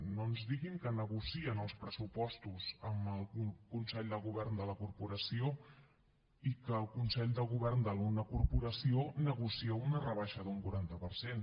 no ens diguin que negocien els pressupostos amb el consell de govern de la corporació i que el consell de govern de la corporació negocia una rebaixa d’un quaranta per cent